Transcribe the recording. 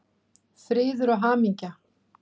Friður og hamingja!